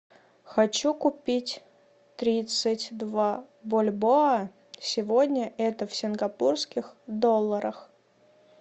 хочу купить тридцать два бальбоа сегодня это в сингапурских долларах